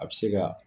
A bɛ se ka